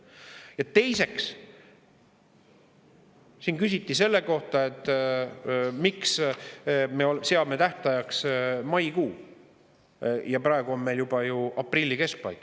Ja teiseks, siin küsiti selle kohta, et miks me seame tähtajaks maikuu, praegu on meil juba aprilli keskpaik.